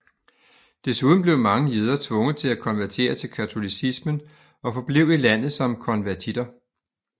Desuden blev mange jøder tvunget til at konvertere til katolicismen og forblev i landet som konvertitter